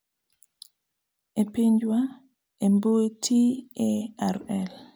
ei pinjwa , e mbui TaRL